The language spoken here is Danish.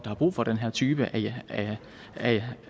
har brug for den her type